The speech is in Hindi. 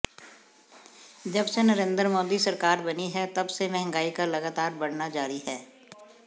जब से नरेन्द्र मोदी सरकार बनी है तब से महंगाई का लगातार बढ़ना जारी है